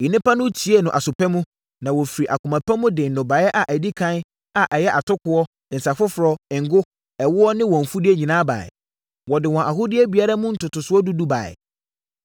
Nnipa no tiee no aso pa mu, na wɔfiri akoma pa mu de nnɔbaeɛ a ɛdi ɛkan a ɛyɛ atokoɔ, nsã foforɔ, ngo, ɛwoɔ ne wɔn mfudeɛ nyinaa baeɛ. Wɔde wɔn ahodeɛ biara mu ntotosoɔ dudu baeɛ.